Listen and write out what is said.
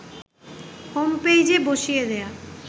home পেইজে বসিয়ে দেয়া